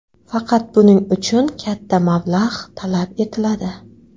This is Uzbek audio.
Faqat buning uchun katta mablag‘ talab etiladi.